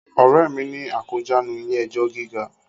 Ọ̀rẹ́ mi ni akójàánu ilé ẹjọ́ gíga